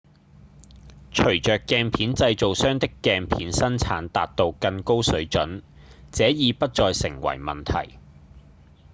隨著鏡片製造商的鏡片生產達到更高水準這已不再成為問題